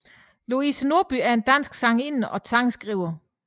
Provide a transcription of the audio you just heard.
Louise Norby er en dansk sangerinde og sangskriver